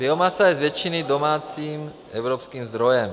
Biomasa je z většiny domácím evropským zdrojem.